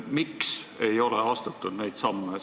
Mul on tegelikult olemas retsept, kuidas saab selle info kätte.